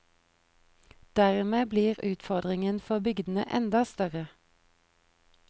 Dermed blir utfordringen for bygdene enda større.